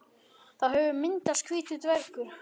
Þá hefur myndast hvítur dvergur.